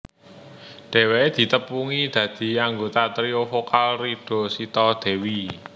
Dhèwèké ditepungi dadi anggota trio vokal Rida Sita Dewi